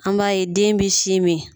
An b'a ye den bi sin min